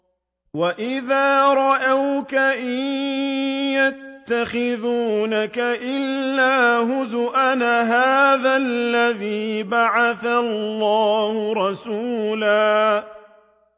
وَإِذَا رَأَوْكَ إِن يَتَّخِذُونَكَ إِلَّا هُزُوًا أَهَٰذَا الَّذِي بَعَثَ اللَّهُ رَسُولًا